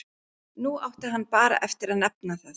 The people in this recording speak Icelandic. Nú átti hann bara eftir að nefna það.